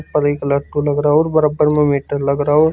अब एक लाख को लग रहो और बराबर में मीटर लग रहो।